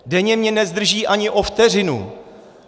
Denně mě nezdrží ani o vteřinu.